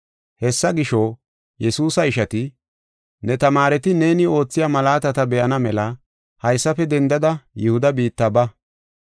Hessa gisho, Yesuusa ishati, “Ne tamaareti neeni oothiya malaatata be7ana mela haysafe dendada Yihuda biitta ba.